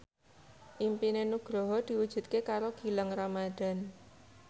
impine Nugroho diwujudke karo Gilang Ramadan